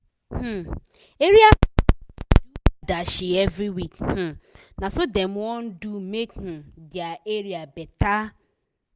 um area pipu da do adashi every week um na so dem wan do make um dia area better